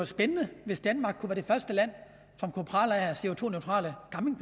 spændende hvis danmark var det første land som kunne prale af